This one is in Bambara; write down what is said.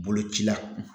Boloci la